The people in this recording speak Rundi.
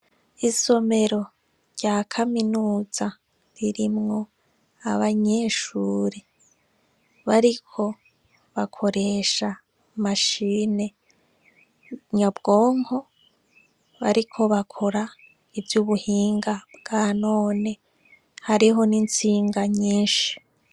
Isomero rya kaminuza ririmwo isomero ririmwo abanyeshuri bariko bakoresha imashini nyabwonko bariko bakora ivyubuhinga bwa none hariho n’instinga nyishi.